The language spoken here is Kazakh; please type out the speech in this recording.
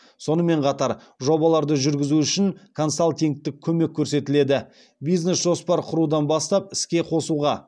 сонымен қатар жобаларды жүргізу үшін консалтингтік көмек көрсетіледі бизнес жоспар құрудан бастап іске қосуға